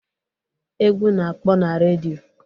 Egwu na-akpọ na redio.